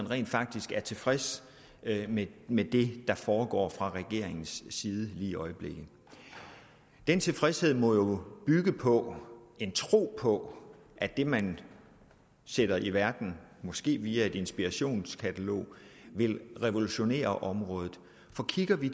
rent faktisk tilfreds med det der foregår fra regeringens side lige i øjeblikket den tilfredshed må jo bygge på en tro på at det man sætter i verden måske via et inspirationskatalog vil revolutionere området for kigger vi